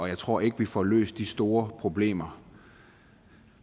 jeg tror ikke at vi får løst de store problemer